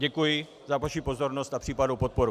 Děkuji za vaši pozornost a případnou podporu.